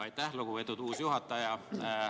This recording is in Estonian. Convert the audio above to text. Aitäh, lugupeetud uus juhataja!